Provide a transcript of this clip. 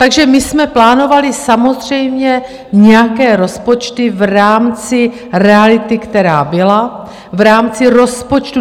Takže my jsme plánovali samozřejmě nějaké rozpočty v rámci reality, která byla, v rámci rozpočtu.